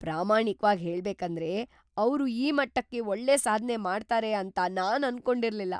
ಪ್ರಾಮಾಣಿಕ್ವಾಗ್ ಹೇಳ್ಬೇಕಂದ್ರೆ, ಅವ್ರು ಈ ಮಟ್ಟಕ್ಕೆ ಒಳ್ಳೆ ಸಾಧ್ನೆ ಮಾಡ್ತಾರೆ ಅಂತ ನಾನ್ ಅನ್ಕೊಂಡಿರ್ಲಿಲ್ಲ.